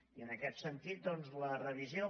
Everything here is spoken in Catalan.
i en aquest sentit doncs la revisió